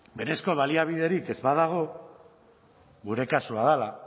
berezko baliabiderik ez badago gure kasua dela